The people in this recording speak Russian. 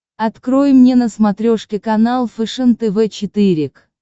открой мне на смотрешке канал фэшен тв четыре к